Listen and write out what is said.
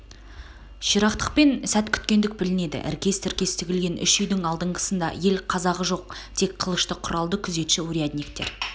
ширақтықпен сәт күткендік білнеді іркес-тіркес тігілген үш үйдің алдыңғысында ел қазағы жоқ тек қылышты құралды күзетші-урядниктер